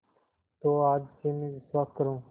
तो आज से मैं विश्वास करूँ